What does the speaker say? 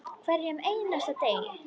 Hverjum einasta degi.